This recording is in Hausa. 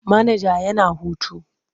Manaja yana hutu.